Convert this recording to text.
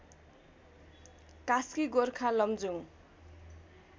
Kaski Gorkha Lamjung